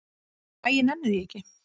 Æ, ég nenni því ekki.